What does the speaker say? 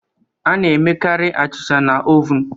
A na-emekarị achịcha na ovun